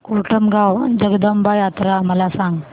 कोटमगाव जगदंबा यात्रा मला सांग